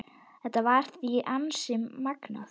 Þetta var því ansi magnað.